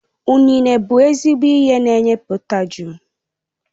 Ụnene bụ ezigbo ihe n'enye potashum